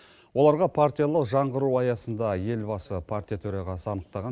оларға партиялық жаңғыру аясында елбасы партия төрағасы анықтаған